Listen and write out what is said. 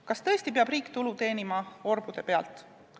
Kas tõesti peab riik teenima orbude pealt tulu?